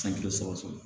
San joli sɔgɔsɔgɔ